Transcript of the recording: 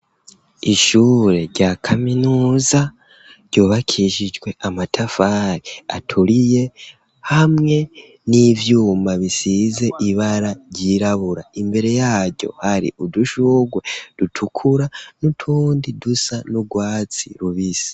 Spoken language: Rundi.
Ishure rya kaminuza ryubakishijwe amatafari aturiye hamwe n'ivyuma bisize ibara ryirabura, imbere yaryo hari udushurwe dutukura n'utundi dusa n'urwatsi rubisi.